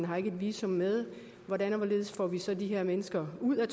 har et visum med hvordan og hvorledes får vi så det her menneske ud af